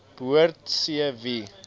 behoort c wie